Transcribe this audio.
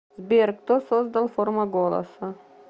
сбер кто создал форма голоса